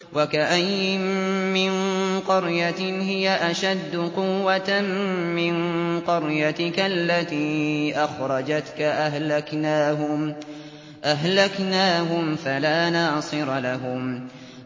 وَكَأَيِّن مِّن قَرْيَةٍ هِيَ أَشَدُّ قُوَّةً مِّن قَرْيَتِكَ الَّتِي أَخْرَجَتْكَ أَهْلَكْنَاهُمْ فَلَا نَاصِرَ لَهُمْ